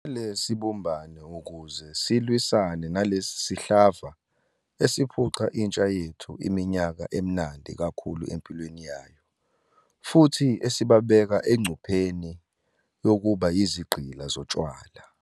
Kumele sibumbane ukuze silwisane nalesi sihlava esiphuca intsha yethu iminyaka emnandi kakhulu empilweni yayo, futhi esibabeka engcupheni yokuba yizigqila zotshwala.